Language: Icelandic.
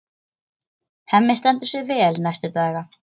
Hemmi stendur sig vel næstu daga.